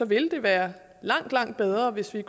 vil det være langt langt bedre hvis vi